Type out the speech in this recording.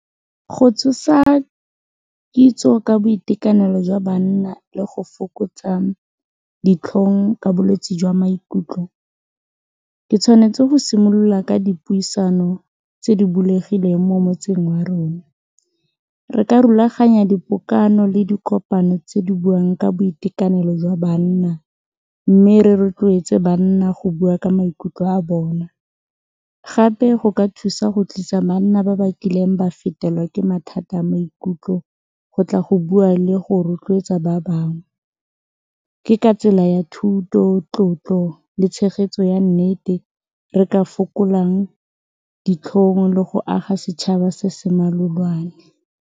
Go tsosa kitso ka boitekanelo jwa banna le go fokotsa ditlhong ka bolwetsi jwa maikutlo ke tshwanetse go simolola ka dipuisano tse di bulegileng mo motseng wa rona, re ka rulaganya dipokano le dikopano tse di buang ka boitekanelo jwa banna mme re rotloetse banna go bua ka maikutlo a bona gape go ka thusa go tlisa banna ba ba kileng ba fetelwa ke mathata a maikutlo go tla go bua le go rotloetsa ba bangwe, ke ka tsela ya thuto, tlotlo le tshegetso ya nnete re ka fokolang ditlhong le go aga setšhaba se se malolwane.